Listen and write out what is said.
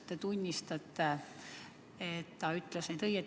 Kas te tunnistate, et ta rääkis õigust?